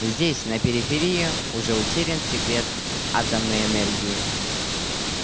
здесь на периферии уже утерян секрет атомной энергии